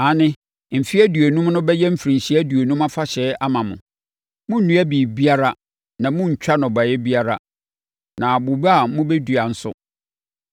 Aane, mfeɛ aduonum no bɛyɛ mfirinhyia aduonum afahyɛ ama mo; monnnua biribiara na monntwa nnɔbaeɛ biara, na bobe a moadua nso, monnte so aba.